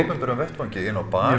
opinberum vettvangi inni á bar